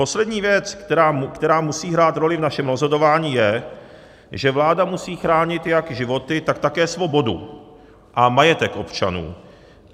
Poslední věc, která musí hrát roli v našem rozhodování, je, že vláda musí chránit jak životy, tak také svobodu a majetek občanů.